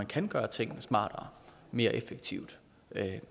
kan gøre tingene smartere mere effektivt